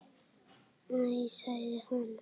Hæ sagði hann.